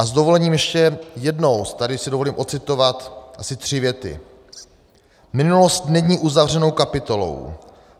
A s dovolením ještě jednou si tady dovolím odcitovat asi tři věty: "Minulost není uzavřenou kapitolou.